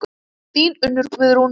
Þín Unnur Guðrún.